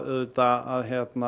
auðvitað að